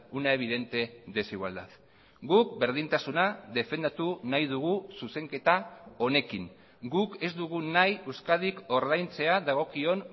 una evidente desigualdad guk berdintasuna defendatu nahi dugu zuzenketa honekin guk ez dugu nahi euskadik ordaintzea dagokion